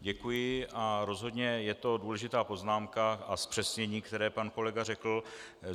Děkuji a rozhodně je to důležitá poznámka a zpřesnění, které pan kolega řekl.